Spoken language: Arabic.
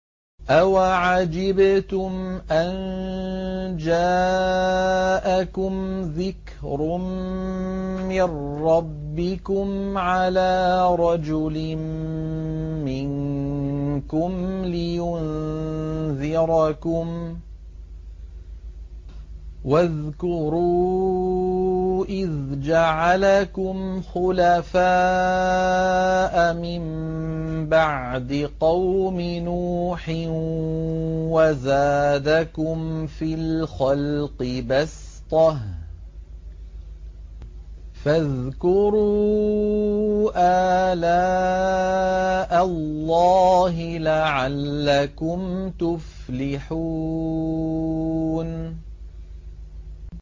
أَوَعَجِبْتُمْ أَن جَاءَكُمْ ذِكْرٌ مِّن رَّبِّكُمْ عَلَىٰ رَجُلٍ مِّنكُمْ لِيُنذِرَكُمْ ۚ وَاذْكُرُوا إِذْ جَعَلَكُمْ خُلَفَاءَ مِن بَعْدِ قَوْمِ نُوحٍ وَزَادَكُمْ فِي الْخَلْقِ بَسْطَةً ۖ فَاذْكُرُوا آلَاءَ اللَّهِ لَعَلَّكُمْ تُفْلِحُونَ